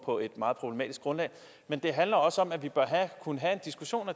på et meget problematisk grundlag men det handler også om at vi bør kunne have en diskussion